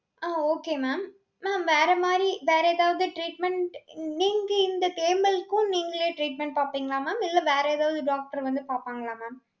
அஹ் okay mam. Mam வேற மாதிரி, வேற ஏதாவது treatment, நீங்க இந்த தேமலுக்கும், நீங்களே treatment பார்ப்பீங்களா mam இல்லை, வேற ஏதாவது doctor வந்து பார்ப்பாங்களா mam?